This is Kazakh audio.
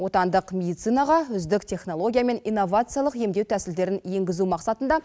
отандық медицинаға үздік технология мен инновациялық емдеу тәсілдерін енгізу мақсатында